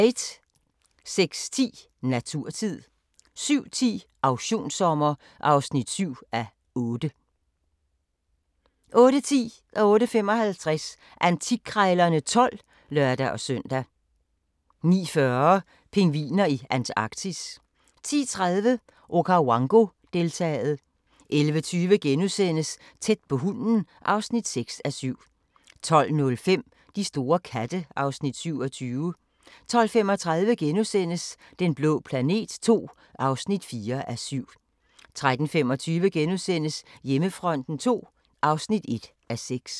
06:10: Naturtid 07:10: Auktionssommer (7:8) 08:10: Antikkrejlerne XII (lør-søn) 08:55: Antikkrejlerne XII (lør-søn) 09:40: Pingviner i Antarktis 10:30: Okawango-deltaet 11:20: Tæt på hunden (6:7)* 12:05: De store katte (Afs. 27) 12:35: Den blå planet II (4:7)* 13:25: Hjemmefronten II (1:6)*